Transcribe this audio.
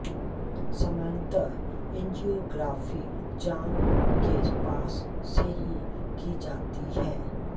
सामान्यतः एंजियोग्राफी जाँघ के पास से ही की जाती है